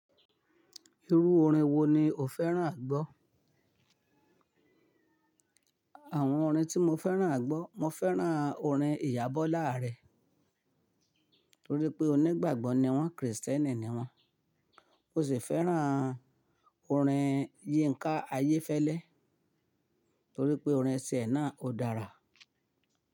Irú orin wo ni o fẹ́ràn à gbọ́? Àwọn orin tí mo fẹ́ràn à gbọ́, mo fẹ́ràn orin Iyabọ̀lá Ààrẹ nítorí pé onígbàgbọ́ ni wọ́n, Kristẹni ni wọ́n. Mo sì fẹ́ràn orin Yínká Ayéfẹ́lẹ́ nítorí pé orin tìẹ̀ náà ò dára.